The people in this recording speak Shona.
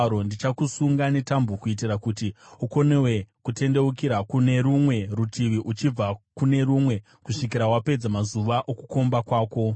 Ndichakusunga netambo kuitira kuti ukonewe kutendeukira kune rumwe rutivi uchibva kune rumwe kusvikira wapedza mazuva okukomba kwako.